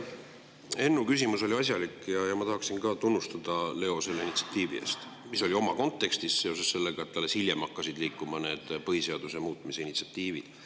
Ennu küsimus oli asjalik ja ma tahaksin ka tunnustada sind, Leo, selle initsiatiivi eest, mis oli oma kontekstis, alles hiljem hakkasid liikuma need põhiseaduse muutmise initsiatiivid.